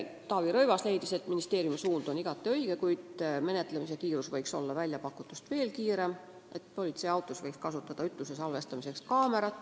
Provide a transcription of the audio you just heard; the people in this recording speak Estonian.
Taavi Rõivas leidis, et ministeeriumi suund on igati õige, kuid menetlemise kiirus võiks olla väljapakutust veel suurem, kui politseiautos kasutataks ütluse salvestamiseks kaamerat.